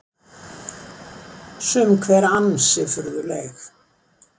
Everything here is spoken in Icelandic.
Sum hver ansi furðuleg